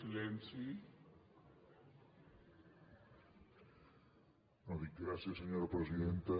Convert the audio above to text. no dic gràcies senyora presidenta